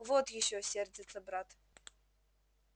вот ещё сердится брат